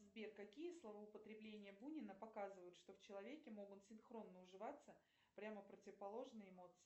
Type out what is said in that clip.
сбер какие словоупотребления бунина показывают что в человеке могут синхронно уживаться прямо противоположные эмоции